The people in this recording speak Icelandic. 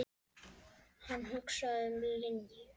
Hann hugsaði um Linju.